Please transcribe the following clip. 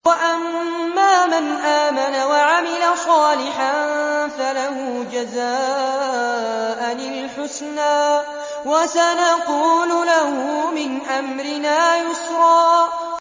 وَأَمَّا مَنْ آمَنَ وَعَمِلَ صَالِحًا فَلَهُ جَزَاءً الْحُسْنَىٰ ۖ وَسَنَقُولُ لَهُ مِنْ أَمْرِنَا يُسْرًا